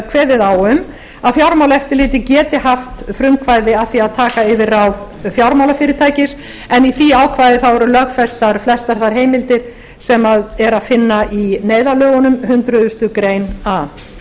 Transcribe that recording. kveðið á um að fjármálaeftirlitið geti haft frumkvæði að því að taka yfir ráð fjármálafyrirtækis en í því ákvæði eru lögfestar flestar þær heimildir sem er að finna neyðarlögunum hundrað ár það